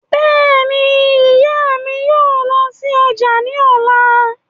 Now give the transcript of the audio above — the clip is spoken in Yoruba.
Bẹ́ẹ̀ni, ìyá mi yóò lọ sí ọjà ní ọ̀la